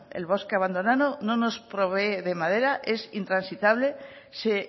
el bosque abandonado no nos provee de madera es intransitable se